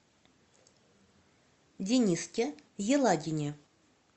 дениске елагине